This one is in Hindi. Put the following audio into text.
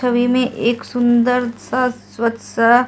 में एक सुंदर सा स्वच्छ सा --